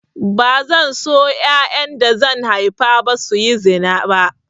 Bazan so yayan da zan haifa su yi zina ba